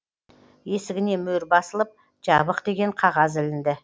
есігіне мөр басылып жабық деген қағаз ілінді